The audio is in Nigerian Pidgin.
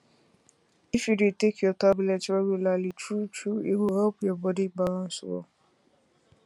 if you dey take your tablet regularly truetrue e go help your body balance well